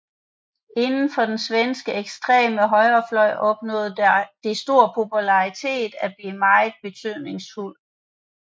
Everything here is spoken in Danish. Indenfor den svenske ekstreme højrefløj opnåede det stor popularitet og blev meget betydningsfuldt